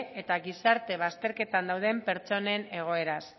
eta gizarte bazterketan dauden pertsonen egoeraz